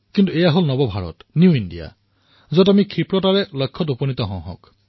কিন্তু এয়া হল নতুন ভাৰত আমি লক্ষ্যত সোনকালেই উপনীত হও